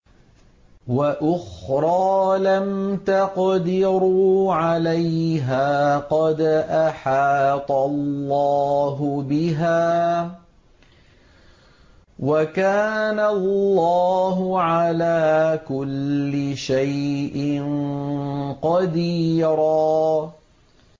وَأُخْرَىٰ لَمْ تَقْدِرُوا عَلَيْهَا قَدْ أَحَاطَ اللَّهُ بِهَا ۚ وَكَانَ اللَّهُ عَلَىٰ كُلِّ شَيْءٍ قَدِيرًا